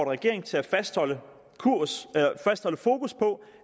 regeringen til at fastholde fokus på